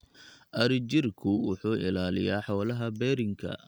Adhijirku wuxuu ilaaliyaa xoolaha berrinka.